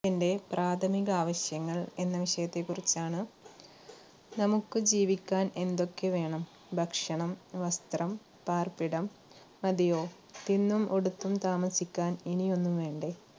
എന്റെ പ്രാഥമിക ആവശ്യങ്ങൾ എന്ന വിഷയത്തെ കുറിച്ചാണ് നമുക്ക് ജീവിക്കാൻ എന്തൊക്കെ വേണം? ഭക്ഷണം, വസ്ത്രം, പാർപ്പിടം മതിയോ? തിന്നും ഉടുത്തും താമസിക്കാൻ ഇനി ഒന്നും വേണ്ടേ?